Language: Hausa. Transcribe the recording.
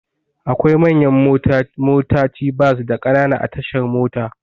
Akwai manyan motaci bas da Ƙanana a tashar mota.